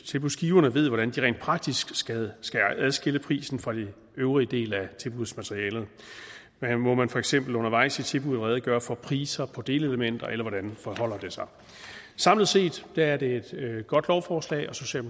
tilbudsgiverne ved hvordan de rent praktisk skal adskille prisen fra den øvrige del af tilbudsmaterialet må man for eksempel undervejs i tilbuddet redegøre for priser på delelementer eller hvordan forholder det sig samlet set er det et godt lovforslag og